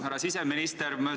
Härra siseminister!